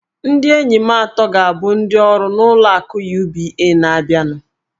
Ndị enyi m atọ ga-abụ ndị ọrụ n'ụlọ akụ UBA. na-abịanụ